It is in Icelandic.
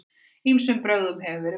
Ýmsum brögðum hefur verið beitt.